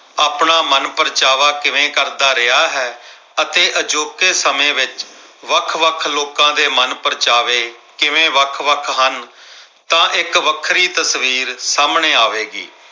ਆਪਣਾ ਮਨਪ੍ਰਚਾਵਾ ਕਿਵੇਂ ਕਰਦਾ ਰਿਹਾ ਹੈ ਅਤੇ ਅਜੋਕੇ ਸਮੇਂ ਵਿੱਚ ਵੱਖ-ਵੱਖ ਲੋਕਾਂ ਦੇ ਮਨਪ੍ਰਚਾਵੇ ਕਿਵੇਂ ਵੱਖ-ਵੱਖ ਹਨ। ਤਾਂ ਇੱਕ ਵੱਖਰੀ ਤਸਵੀਰ ਸਾਹਮਣੇ ਆਵੇਗੀ।